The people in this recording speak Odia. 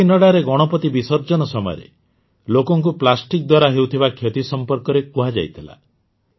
କାକିନାଡ଼ାରେ ଗଣପତି ବିସର୍ଜନ ସମୟରେ ଲୋକଙ୍କୁ ପ୍ଲାଷ୍ଟିକ୍ ଦ୍ୱାରା ହେଉଥିବା କ୍ଷତି ସମ୍ପର୍କରେ କୁହାଯାଇଥିଲା